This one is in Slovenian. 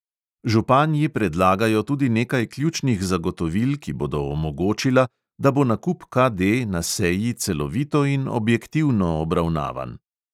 Županji predlagajo tudi nekaj ključnih zagotovil, ki bodo omogočila, da bo nakup KD na seji celovito in objektivno obravnavan.